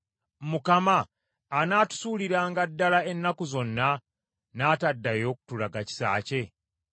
“Mukama anaatusuuliranga ddala ennaku zonna naataddayo kutulaga kisa kye?